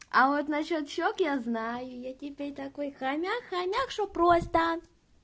а вот на счёт щёк я знаю я теперь такой хомяк хомяк что просто